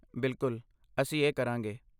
ਬਿਲਕੁਲ, ਅਸੀਂ ਇਹ ਕਰਾਂਗੇ।